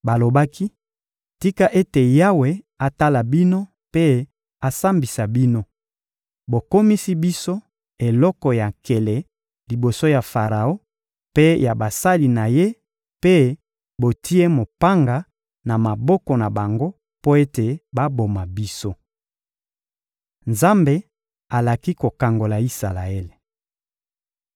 Balobaki: — Tika ete Yawe atala bino mpe asambisa bino! Bokomisi biso eloko ya nkele liboso ya Faraon mpe ya basali na ye mpe botie mopanga na maboko na bango mpo ete baboma biso! Nzambe alaki kokangola Isalaele